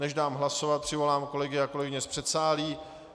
Než dám hlasovat, přivolám kolegyně a kolegy z předsálí.